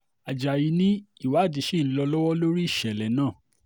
ajáyí ni ìwádìí ṣì ń lọ lọ́wọ́ lórí ìṣẹ̀lẹ̀ náà